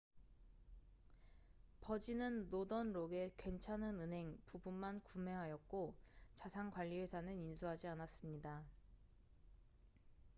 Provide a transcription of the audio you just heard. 버진은 노던 록의 괜찮은 은행 부분만 구매하였고 자산관리회사는 인수하지 않았습니다